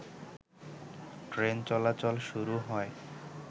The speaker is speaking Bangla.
ট্রেনচলাচল শুরু হয়।